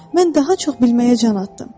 Mən daha çox bilməyə can atdım.